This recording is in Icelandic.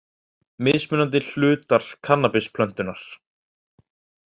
Mismunandi hlutar kannabisplöntunnar.